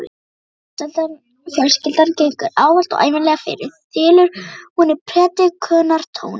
Fjölskyldan gengur ávallt og ævinlega fyrir, þylur hún í predikunartóni.